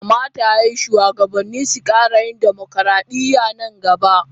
Kamata ya yi shugabanni su kara yin dimokradiyya a nan gaba.